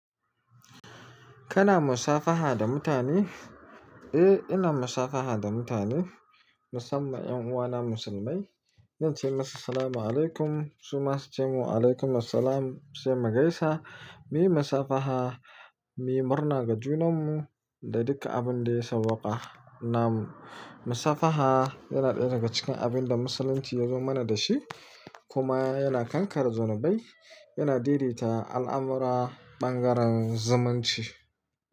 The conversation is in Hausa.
Kana musafaha da mutane? Eh, ina musafaha da mutane, musamman 'yan uwana musulmai. Zan ce musu Salamu alaykum, su ma su ce wa alaykum salam. Sai mu gaisa muyi musafaha, muyi murna ga junanmu da duk abinda ya sawwaka namu musafaha yana daya daga cikin abinda musulunchi yazo mana dashi kuma yana kankare zunubbai yana daidaita al'amura ɓangaren zumunci.